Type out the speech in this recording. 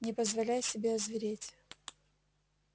не позволяй себе озвереть